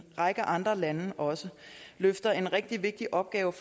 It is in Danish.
række andre lande også løfter en rigtig vigtig opgave